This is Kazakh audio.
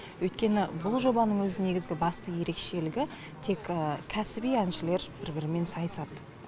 өйткені бұл жобаның өз негізгі басты ерекшелігі тек кәсіби әншілер бір бірімен сайысады